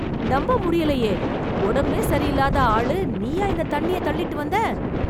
நம்ப முடியலையே. உடம்பே சரியில்லாத ஆளு, நீயா இந்த தண்ணிய தள்ளிட்டு வந்த ?